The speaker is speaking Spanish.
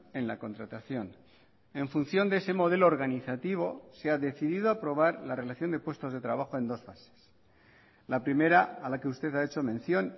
en la contratación en función de ese modelo organizativo se ha decidido aprobar la relación de puestos de trabajo en dos fases la primera a la que usted ha hecho mención